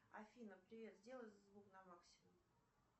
афина привет сделай звук на максимум